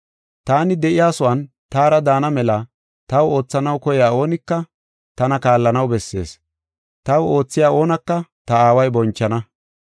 Taani de7iyasuwan taara daana mela taw oothanaw koyiya oonika tana kaallanaw bessees. Taw oothiya oonaka ta Aaway bonchana.